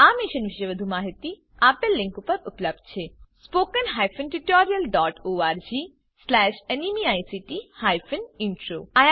આ મિશન વિશે વધુ માહીતી આ લીંક ઉપર ઉપલબ્ધ છે spoken hyphen tutorial dot org slash NMEICT hyphen intro અહીં આ ટ્યુટોરીયલ સમાપ્ત થાય છે